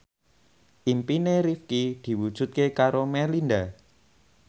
impine Rifqi diwujudke karo Melinda